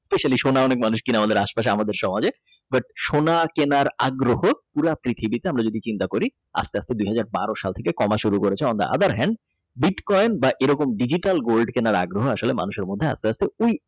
পাঁচালী সোনা অনেক মানুষ কেনে আমাদের আশপাশ আমাদের সমাজে but সোনা কেনার আগ্রহ পৃথিবীতে আমরা যদি চিন্তা করি আস্তে আস্তে দুইহাজার বারো সাল থেকে কমা শুরু করেছে Ādāra hēnḍa বিটকয়েন এবং Digital Gold কেনার আগ্রহ মানুষের মধ্যে আস্তে আস্তে ওই।